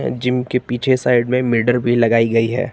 Gym के पीछे side में मिरर भी लगाई है।